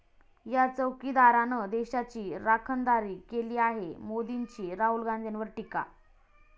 या चौकीदारानं देशाची राखणदारी केली आहे', मोदींची राहुल गांधींवर टीका